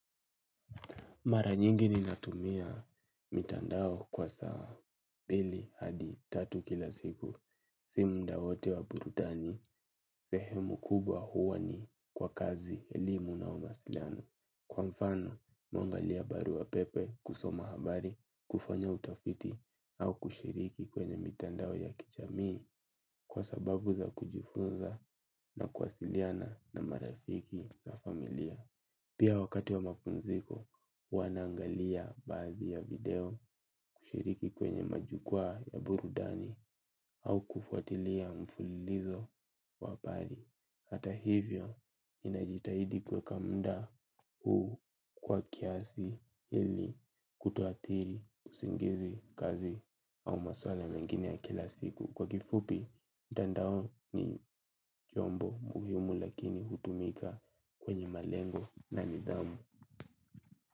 Mara nyingi ni natumia mitandao kwa saa, mbili, hadi, tatu kila siku. Si mudawote wa burudani, sehemu kubwa huwani kwa kazi elimu na umasiliano. Kwa mfano, mimihungalia barua pepe kusoma habari, kufanya utafiti, au kushiriki kwenye mitandao ya kijamii kwa sababu za kujifunza na kuwasiliana na marafiki na familia. Pia wakati wa mapumziko, huwanaangalia baadhi ya video kushiriki kwenye majukwaa ya burudani au kufuatilia mfululizo wahabari. Hata hivyo, ninajitahidi kuweka muda huu kwa kiasi ili kutoadhiri kusingizi kazi au maswala mengine ya kila siku. Kwa kifupi, mtandao ni chombo muhimu lakini hutumika kwenye malengo na nidhamu.